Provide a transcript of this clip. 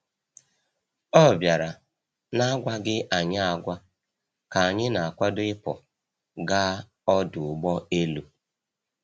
Ọ bịara n’agwaghị anyị agwa ka anyị na-akwado ịpụ gaa ọdụ ụgbọ elu.